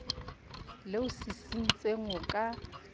le o sisintseng o ka